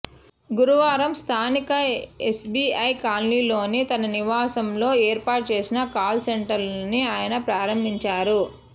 గురువారం స్థానిక ఎస్బీఐ కాలనీలోని తన నివాసంలో ఏర్పాటు చేసిన కాల్సెంటర్ను ఆయన ప్రారంభించారు